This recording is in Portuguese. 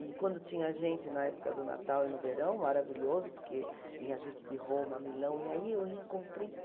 E quando tinha gente na época do Natal e no verão, maravilhoso, porque vinha gente de Roma, Milão, e aí eu reencontrei